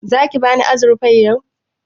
Zaki bani azurfar yau?